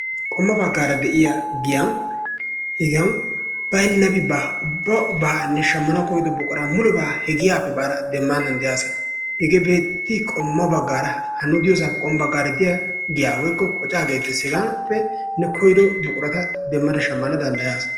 Qommo baggaara de'iyaa giyan hegaan baynnabi baa. Ubbabaa ne shammanawu koydo buquraa mulebaa he giyappe baada demmana danddayaasa. Hegee beettii? Qommo baggaara ha nu diyossaappe diya giya woykko qoccaa gettees, hegaappe ne koydo buqurata demmada koyada shammana danddayaasa.